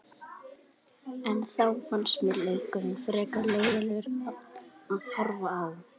En þá fannst mér leikurinn frekar leiðinlegur að horfa á.